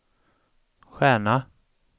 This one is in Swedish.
stjärna